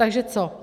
Takže co.